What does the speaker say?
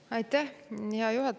Aitäh, hea juhataja!